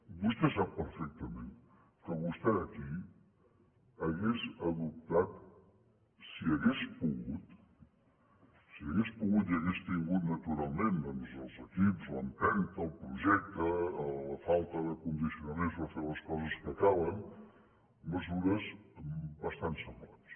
vostè sap perfectament que vostè aquí hauria adoptat si hagués pogut si hagués pogut i hagués tingut naturalment doncs els equips l’empenta el projecte la falta de condicionaments per fer les coses que calen mesures bastant semblants